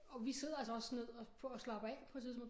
Og vi sidder altså også ned og på og slapper af på et tidspunkt